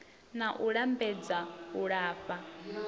na u lambedza u lafha